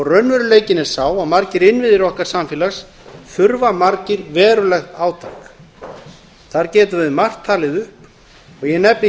raunveruleikinn er sá að margir innviðir okkar samfélags þurfa margir verulegt átak þar getum við margt talið upp og ég nefni